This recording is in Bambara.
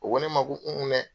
U ko ne ma ko un un dɛ!